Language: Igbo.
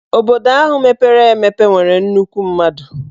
Obodo ahụ mepere emepe nwere nnukwu mmadụ.